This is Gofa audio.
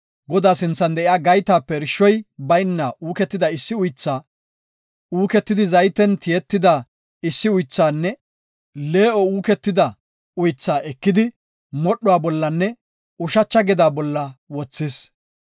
Godaa sinthan de7iya gaytape irshoy bayna uuketida issi uythaa, uuketidi zayten tiyetida issi uythaanne lee7on uuketida uythaa ekidi modhuwa bollanne ushacha gedaa bolla wothis.